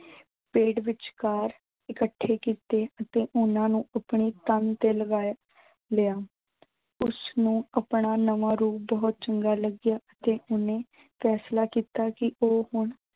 ਪੇੜ ਵਿਚਕਾਰ ਇਕੱਠੇ ਕੀਤੇ ਅਤੇ ਉਨ੍ਹਾਂ ਨੂੰ ਆਪਣੇ ਕੰਮ ਤੇ ਲਗਾਇਆ ਲਿਆ। ਉਸਨੂੰ ਆਪਣਾ ਨਵਾਂ ਰੂਪ ਬਹੁਤ ਚੰਗਾ ਲੱਗਿਆ ਤੇ ਓਹਨੇ ਫੈਸਲਾ ਕੀਤਾ ਕਿ ਉਹ ਹੁਣ